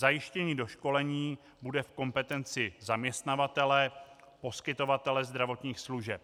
Zajištění doškolení bude v kompetenci zaměstnavatele, poskytovatele zdravotních služeb.